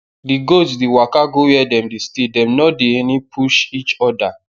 the goats dey waka go where dem dey stay dem nor dey ene push each oda